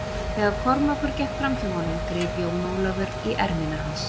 Þegar Kormákur gekk fram hjá honum greip Jón Ólafur í ermina hans.